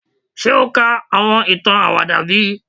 Ṣe o ka awọn itan awada bi?